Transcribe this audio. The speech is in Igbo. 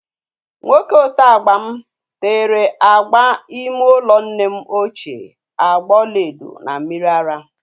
Nwoke oteagba m tere agba ime ụlọ nne ochie agba ọlaedo na mmiri ara